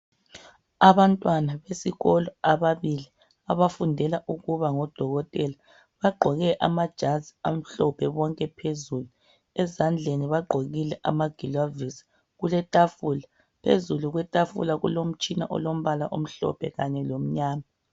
Abantwana besikolo ababili abafundela ukuba ngodokotela bagqoke amajazi amhlophe bonke phezulu ezandleni bagqokile amagilovosi kuletafula phezulu kwetafula kulomtshina olombala omhlophe kanye lomnyama.